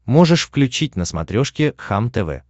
можешь включить на смотрешке кхлм тв